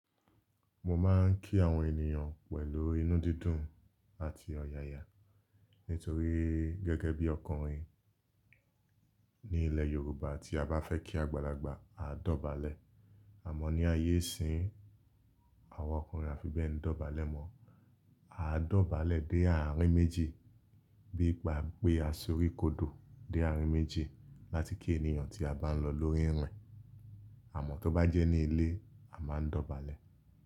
Mo máa ń kí àwọn ènìyàn pẹ̀lú inú dídùn àti ọ̀yàyà nítorí gẹ́gẹ́ bí ọkùnrin ní ilẹ̀ Yorùbá tí a bá fẹ́ kí àgbàlagbà, a dọ̀bálẹ̀ àmọ́ ní ayé ìsín, àwọn ọkùnrin àfi bẹ n dọ̀bálẹ̀ mọ́. A dọ̀bálẹ̀ dé àárín méjì bí i gbàpe a sorí kodò dé àárín méjì láti kí ènìyàn tí a bá ń lọ lórí irin. Àmọ́ tó bá jẹ́ ní ilé, a máa ń dọ̀bálẹ̀.